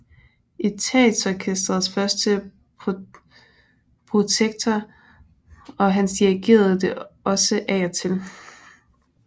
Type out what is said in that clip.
Etatsorkestrets første protektor og han dirigerede det også af og til